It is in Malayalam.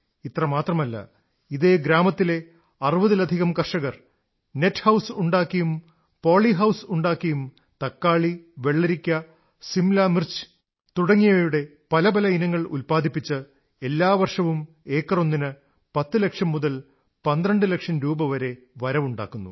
ഇത്രമാത്രമല്ല ഇതേ ഗ്രാമത്തിലെ 60 ലധികം കർഷകർ നെറ്റ് ഹൌസ് ഉണ്ടാക്കിയും പോളി ഹൌസ് ഉണ്ടാക്കിയും തക്കാളി വെള്ളരിക്ക സിംല മിർച്ച് തുടങ്ങിയവയുടെ പല പല ഇനങ്ങൾ ഉത്പാദിപ്പിച്ച് എല്ലാ വർഷവും ഏക്കറൊന്നിന് 10 ലക്ഷം മുതൽ 12 ലക്ഷം രൂപവരെ ആദായമുണ്ടാക്കുന്നു